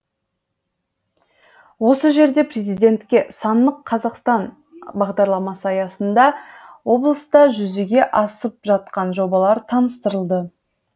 осы жерде президентке сандық қазақстан бағдарламасы аясында облыста жүзеге асып жатқан жобалар таныстырылды